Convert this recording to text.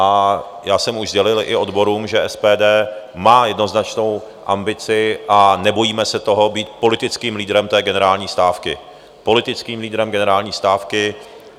A já jsem už sdělil i odborům, že SPD má jednoznačnou ambici a nebojíme se toho být politickým lídrem té generální stávky, politickým lídrem generální stávky.